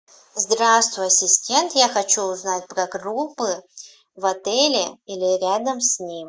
здравствуй ассистент я хочу узнать про группы в отеле или рядом с ним